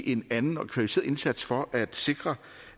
en anden og kvalificeret indsats for at sikre